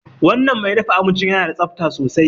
Wanan mai dafa abincin yana da tsabta sosai